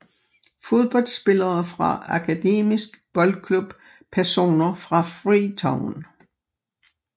Fodboldspillere fra Akademisk Boldklub Personer fra Freetown